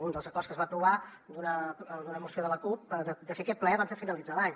un dels acords que es va aprovar d’una moció de la cup de fer aquest ple abans de finalitzar l’any